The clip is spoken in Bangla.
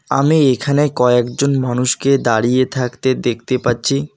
আমি এখানে কয়েকজন মানুষকে দাঁড়িয়ে থাকতে দেখতে পাচ্ছি।